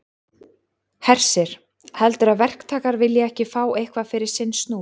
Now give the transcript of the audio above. Hersir: Heldurðu að verktakar vilji ekki fá eitthvað fyrir sinn snúð?